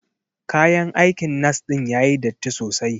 Kayan aikin nas din yayi datti sosai.